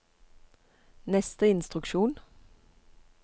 neste instruksjon